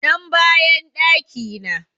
Nan bayan ɗaki na